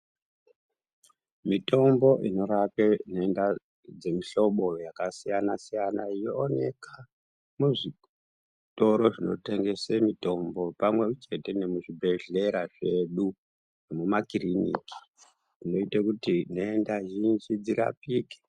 Mitombo inorape denda dzemuhlobo yakasiyana siyana yooneka muzvitoro zvinotengese mutombo pamwe chete muzvibhehlera zvedu nemumakiriniki inoita kuti nhenda zhinji dzirapike.